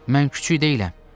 Mən kiçik deyiləm.